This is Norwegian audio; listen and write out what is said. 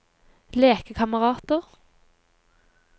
lekekamerater